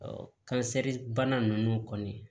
kansɛri bana ninnu kɔni